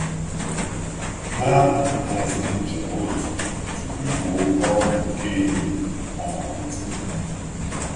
Ha haziri njem otu tupu ikpo oke ọkụ nke ehihie amalite.